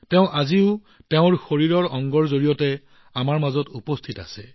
তাই আজিও তাইৰ শৰীৰৰ এটা অংশৰ মাজেৰে উপস্থিত আছে